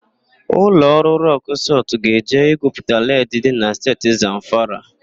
Ụlọ ọrụ Rọk Sọlt ga-eje igwuputa led dị na Steeti Zamfara.